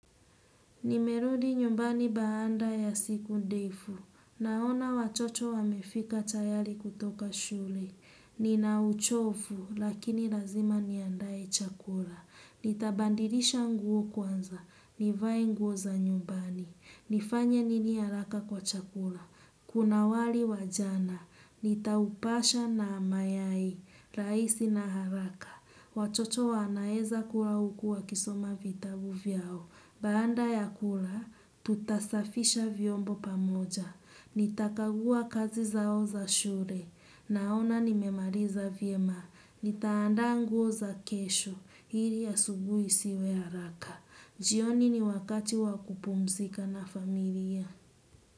Nimerudi nyumbani baada ya siku ndefu. Naona watoto wamefika tayari kutoka shule Nina uchofu lakini lazima niandae chakula. Nitabandilisha nguo kwanza. Nivae nguo za nyumbani. Nifanye nini haraka kwa chakula. Kuna wali wajana, nitaupasha na mayai, rahisi na haraka. Watoto wanaeza kuwa huku wakisoma vitabu vyao. Banda ya kula, tutasafisha vyombo pamoja. Nitakagua kazi zao za shule, naona nimemaliza vyema. Nitaandaa nguo za kesho, ili asubuhi siwe haraka. Jioni ni wakati wakupumzika na familia.